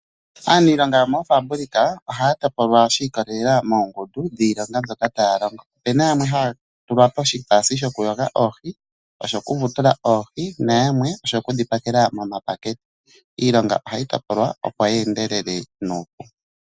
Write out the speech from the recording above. Aaniilonga yomofambulika ohaya topolwa shi ikolelela moongundu dhiilonga mbyoka taya longo. Ope na yamwe haya tulwa ko shi taasi sho ku yoga oohi, sho ku vutula oohi, na yamwe oku dhi pakela momapakete. Iilonga ohayi topolwa opo yi endelele nuupu.